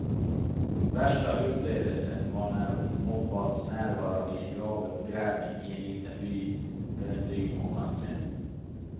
Värsta upplevelsen var när hon ombads närvara vid en gravuppgrävning i en liten by för en dryg månad sedan.